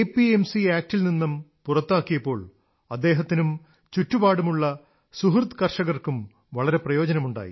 C നിയമത്തിൽനിന്ന് പുറത്തുകൊണ്ടുവന്നപ്പോൾ അദ്ദേഹത്തിനും ചുറ്റുപാടുമുള്ള സുഹൃദ് കർഷകർക്കും വളരെ പ്രയോജനമുണ്ടായി